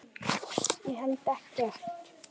Ég held ekkert.